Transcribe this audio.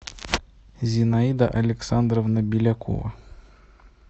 зинаида александровна белякова